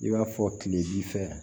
I b'a fɔ kile bi fɛ